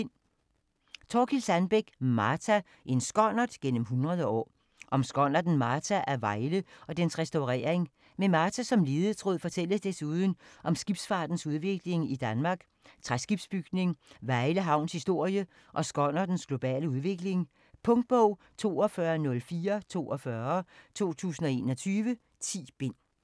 Sandbeck, Thorkild: Martha: en skonnert gennem 100 år Om skonnerten Martha af Vejle og dens restaurering. Med Martha som ledetråd fortælles desuden om skibsfartens udvikling i Danmark, træskibsbygning, Vejle havns historie og skonnertens globale udvikling. Punktbog 420442 2021. 10 bind.